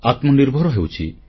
ଆତ୍ମନିର୍ଭର ହେଉଛି